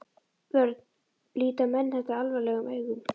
Björn: Líta menn þetta alvarlegum augum?